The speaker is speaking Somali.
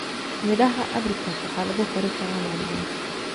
Midhaha apricot waxaa lagu kari karaa macmacaanka.